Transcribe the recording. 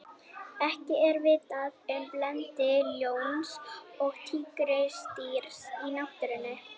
ekki er vitað um blending ljóns og tígrisdýrs í náttúrunni